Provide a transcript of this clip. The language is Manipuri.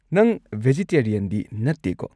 ꯅꯪ ꯕꯦꯖꯤꯇꯦꯔꯤꯌꯟꯗꯤ ꯅꯠꯇꯦꯀꯣ?